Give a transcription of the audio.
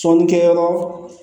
Sɔnnikɛ yɔrɔ